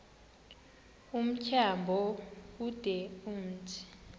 tyambo ude umthi